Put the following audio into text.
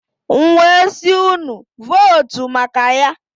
M wee sị, unu votu maka Ya.